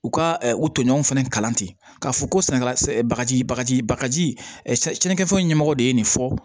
U ka u toɲɔgɔnw fana kalan ten k'a fɔ ko sɛnɛkɛla bagaji bagaji bagaji kɛfɛn ɲɛmɔgɔ de ye nin fɔ